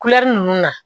ninnu na